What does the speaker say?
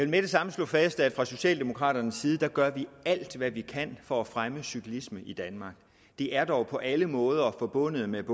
med det samme slå fast at fra socialdemokraternes side gør vi alt hvad vi kan for at fremme cyklismen i danmark det er dog på alle måder forbundet med